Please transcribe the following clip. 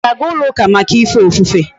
Íga aga ulo uka Maka ife ofufe?